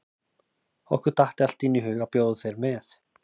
Okkur datt allt í einu í hug að bjóða þér með.